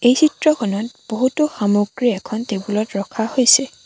এই চিত্ৰখনত বহুতো সামগ্ৰী এখন টেবুল ত ৰখা হৈছে।